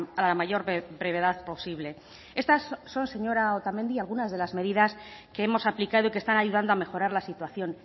a la mayor brevedad posible estas son señora otamendi algunas de las medidas que hemos aplicado y que están ayudando a mejorar la situación